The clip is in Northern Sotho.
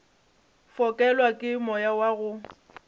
fokelwa ke moya wa go